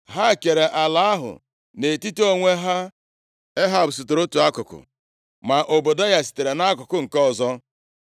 Ha kere ala ahụ nʼetiti onwe ha. Ehab sitere otu akụkụ, ma Ọbadaya sitere akụkụ nke ọzọ.